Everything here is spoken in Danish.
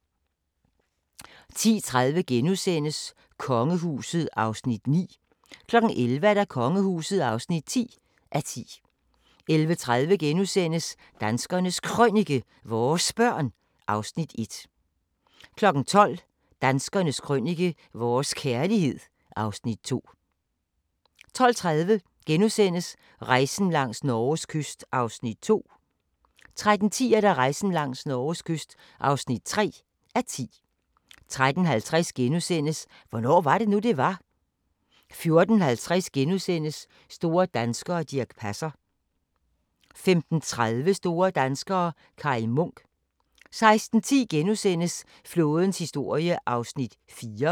10:30: Kongehuset (9:10)* 11:00: Kongehuset (10:10) 11:30: Danskernes Krønike - vores børn (Afs. 1)* 12:00: Danskernes Krønike - vores kærlighed (Afs. 2) 12:30: Rejsen langs Norges kyst (2:10)* 13:10: Rejsen langs Norges kyst (3:10) 13:50: Hvornår var det nu, det var? * 14:50: Store danskere - Dirch Passer * 15:30: Store danskere - Kai Munk 16:10: Flådens historie (4:7)*